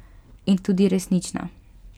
In tudi resnična.